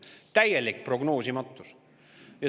Täielik prognoosimatus.